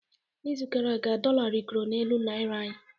N'izu gara aga, dollar rịgoro n'elu naira anyị